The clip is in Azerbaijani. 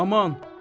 Aman!